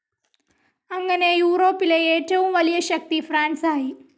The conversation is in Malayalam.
അങ്ങനെ യൂറോപ്പിലെ ഏറ്റവും വലിയ ശക്തി ഫ്രാൻസായി.